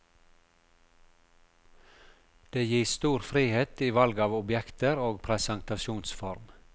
Det gis stor frihet i valg av objekter og presentasjonsform.